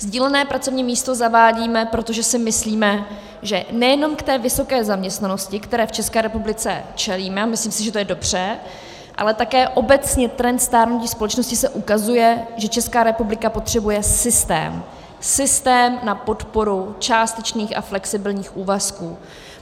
Sdílené pracovní místo zavádíme, protože si myslíme, že nejenom k té vysoké zaměstnanosti, které v České republice čelíme, a myslím si, že je to dobře, ale také obecně trend stárnutí společnosti se ukazuje, že Česká republika potřebuje systém, systém na podporu částečných a flexibilních úvazků.